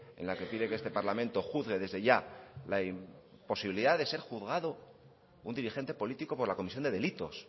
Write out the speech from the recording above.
en la que pide que este parlamento juzgue desde ya la imposibilidad de ser juzgado un dirigente político por la comisión de delitos